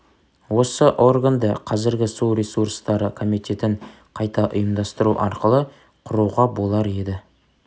осы органды қазіргі су ресурстары комитетін қайта ұйымдастыру арқылы құруға болар еді